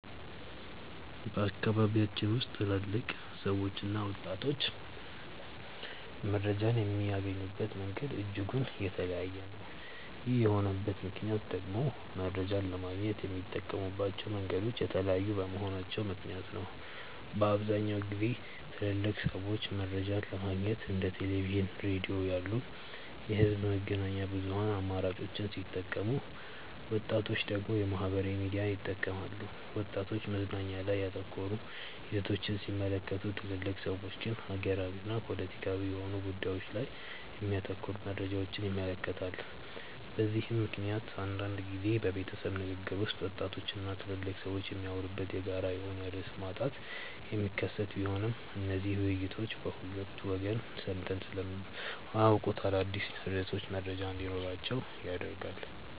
በአካባቢያችን ውስጥ ትልልቅ ሰዎችና ወጣቶች መረጃን የሚያገኙበት መንገድ እጅጉን የተለያየ ነው። ይህ የሆነበት ምክንያት ደግሞ መረጃን ለማግኘት የሚጠቀሙባቸው መንገዶች የተለያዩ በመሆናቸው ምክንያት ነው። በአብዛኛውን ጊዜ ትልልቅ ሰዎች መረጃን ለማግኘት እንደ ቴሌቪዥን፣ ሬዲዮ ያሉ የህዝብ መገናኛ ብዙሃን አማራጮችን ሲጠቀሙ ወጣቶች ደግሞ ማህበራዊ ሚዲያን ይጠቀማሉ። ወጣቶች መዝናኛ ላይ ያተኮሩ ይዘቶችን ሲመለከቱ ትልልቅ ሰዎች ግን ሀገራዊና ፖለቲካዊ የሆኑ ጉዳዮች ላይ የሚያተኩሩ መረጃዎችን ይመለከታሉ። በዚህ ምክንያት አንዳንድ ጊዜ በቤተሰብ ንግግር ውስጥ ወጣቶች እና ትልልቅ ሰዎች የሚያወሩበት የጋራ የሆነ ርዕስ ማጣት የሚከሰት ቢሆንም እነዚህ ውይይቶች በሁለቱ ወገን ሰምተው ስለማያውቁት አዳዲስ ርዕሶች መረጃ እንዲኖራቸው ያደርጋል።